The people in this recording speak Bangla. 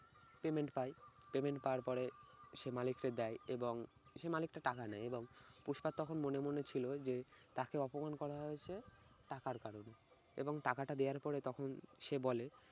payment পায় payment পাওয়ার পরে সে মালিকরে দেয় এবং সে মালিককে টাকা নেয় এবং পুস্পার তখন মনে মনে ছিল যে তাকে অপমান করা হয়েছে টাকার কারণে এবং টাকাটা দেওয়ার পরে তখন সে বলে